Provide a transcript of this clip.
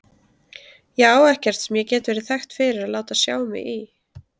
Ég á ekkert sem ég get verið þekkt fyrir að láta sjá mig í.